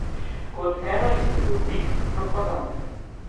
Kot eno izmed oblik propagande.